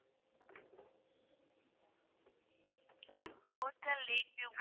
hotel lake view